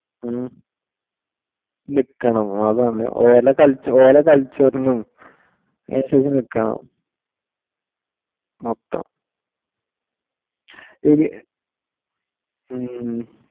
ഉം നിക്കണം അതാണ് ഓലെ കള്ച്ച culture നും അന്സരിച് നിക്കണം മൊത്ത ഇത്